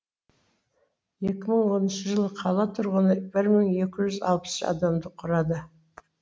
екі мың оныншы жылы қала тұрғыны бір мың екі жүз алпыс үш адамды құрады